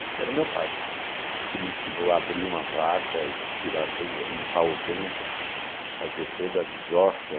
Esse era o meu pai, que me ensinou a abrir uma vaca e tirar tudo, limpar o ventre, fazer toda a desossa.